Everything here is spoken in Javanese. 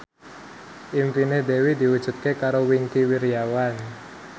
impine Dewi diwujudke karo Wingky Wiryawan